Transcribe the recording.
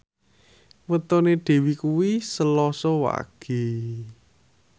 wetone Dewi kuwi Selasa Wage